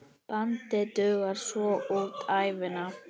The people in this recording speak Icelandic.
Bandið dugar svo út ævina.